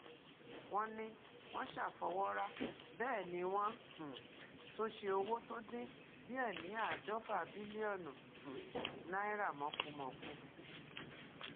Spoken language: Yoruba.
wọn ní wọn ṣàfọwọrá bẹẹ ni wọn um tún ṣe owó tó dín díẹ ní àádọfà bílíọnù um náírà mọkùmọkù